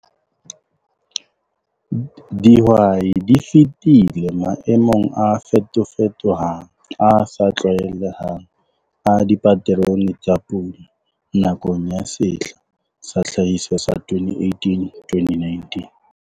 DIHWAI DI FETILE MAEMONG A FETOFETOHANG, A SA TLWAELEHANG A DIPATERONE TSA PULA NAKONG YA SEHLA SA TLHAHISO SA 2018 2019.